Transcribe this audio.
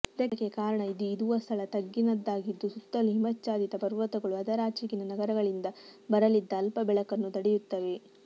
ಇದಕ್ಕೆ ಕಾರಣ ಇದು ಇದುವ ಸ್ಥಳ ತಗ್ಗಿನದ್ದಾಗಿದ್ದು ಸುತ್ತಲೂ ಹಿಮಾಚ್ಛಾದಿತ ಪರ್ವತಗಳು ಅದರಾಚೆಗಿನ ನಗರಗಳಿಂದ ಬರಲಿದ್ದ ಅಲ್ಪ ಬೆಳಕನ್ನೂ ತಡೆಯುತ್ತವೆ